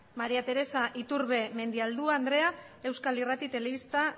maría teresa iturbe mendialdua andrea euskal irrati telebista